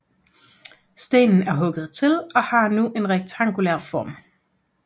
Stenen er hugget til og har nu en rektangulær form